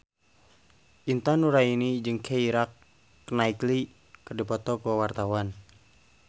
Intan Nuraini jeung Keira Knightley keur dipoto ku wartawan